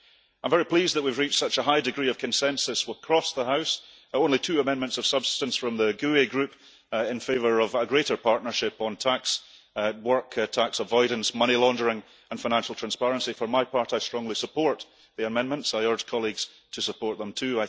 I am very pleased that we have reached such a high degree of consensus across the house only two amendments of substance from the GUE group in favour of greater partnership on tax work, tax avoidance, money laundering, and financial transparency. For my part, I strongly support the amendments, I urge colleagues to support them, too.